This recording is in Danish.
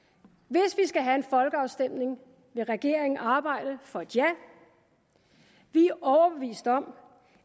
skal have en folkeafstemning vil regeringen arbejde for et ja vi er overbevist om